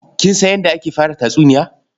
Kin san yadda ake fara tatsuniya?